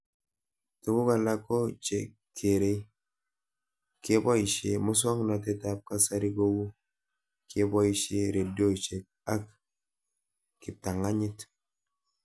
Tuguk alak ko che kerei kepoishe muswognatet ab kasari kou kepoishe redioshek ak kiptang'anyit